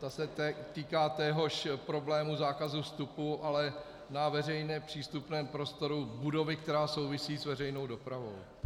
Ta se týká téhož problému zákazu vstupu, ale na veřejně přístupném prostory budovy, která souvisí s veřejnou dopravou.